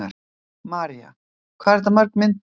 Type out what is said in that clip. María: Hvað eru þetta mörg myndbönd?